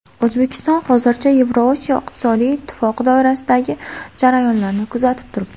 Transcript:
O‘zbekiston hozircha Yevrosiyo iqtisodiy ittifoqi doirasidagi jarayonlarni kuzatib turibdi.